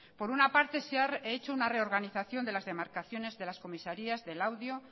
por una parte se ha hecho una reorganización de las demarcaciones de las comisarías de laudio